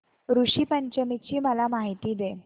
ऋषी पंचमी ची मला माहिती दे